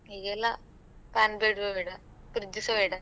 ಈಗೆಲ್ಲ fan ಬೇಡ್ವೇ ಬೇಡ. fridge ಸ ಬೇಡ.